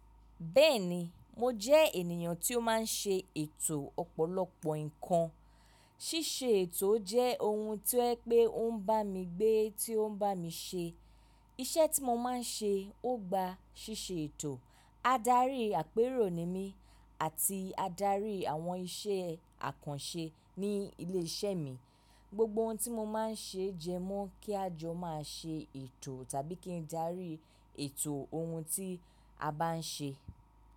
Bẹ́ẹ̀ni, mo jẹ́ ènìyàn tí ó máa ń ṣe ètò ọ̀pọ̀lọpọ̀ nǹkan. Síse ètò jẹ́ ohun tó yẹ pé ó ń bá mi gbé, tó ń bá mi ṣe. Iṣẹ́ tí mo máa ń ṣe ó gba ṣíṣe ètò. Ádarí àpérò ni mí àti adarí àwọn iṣẹ́ àkànṣe ní ilé iṣẹ́ mi. Gbogbo ohun tí mo máa ń ṣe jẹ mọ́ kí a jọ máa ṣe ètò tàbí kí n darí ètò ohun tí a bá n ṣe.